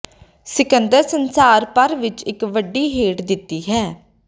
ਸਿਕੰਦਰ ਸੰਸਾਰ ਭਰ ਵਿੱਚ ਇੱਕ ਵੱਡੀ ਹੇਠ ਦਿੱਤੀ ਹੈ